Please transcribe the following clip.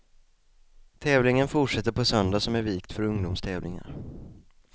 Tävlingen fortsätter på söndag som är vikt för ungdomstävlingar.